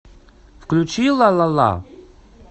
включи ла ла ла